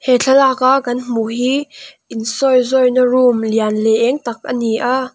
he thlalak a kan hmuh hi in sawizawih na room lian leh êng tak a ni a.